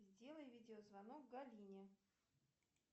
сделай видеозвонок галине